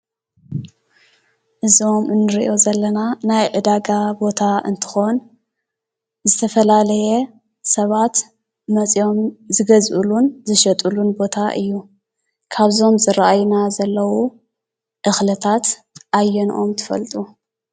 እዚ ንሪኦ ዘለና ናይ ዕዳጋ ቦታ እንትኾን ዝተፈላለየ ሰባት መፂኦም ዝገዝእሉን ዝሸጥሉን ቦታ እዩ። ካብዞም ዝርኣዩና ዘለዉ እኽልታት ኣየንኦም ትፈልጡ?